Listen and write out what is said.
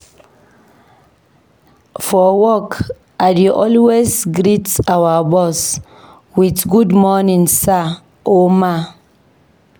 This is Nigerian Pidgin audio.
For work, we dey always greet our boss with "Good morning, sir/ma."